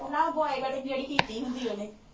ਨਾ boy cutting ਜਿਹੜੀ ਕੀਤੀ ਹੁੰਦੀ ਉਹਨੇ